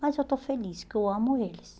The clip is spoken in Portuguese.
Mas eu estou feliz, porque eu amo eles.